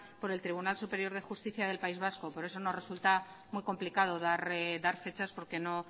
por el tribunal superior de justicia del país vasco por eso nos resulta muy complicado dar fechas porque no